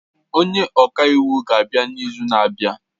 Onye ọka iwu ga-abịa n'izu na-abịa